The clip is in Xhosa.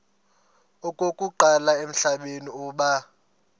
okokuqala emhlabeni uba